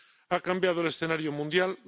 Ha cambiado el escenario mundial.